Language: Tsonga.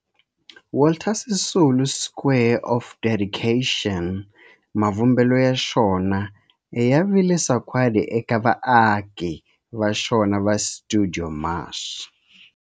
Walter Sisulu Square of Dedication, mavumbelo ya xona ya vile sagwadi eka vaaki va xona va stuidio MAS.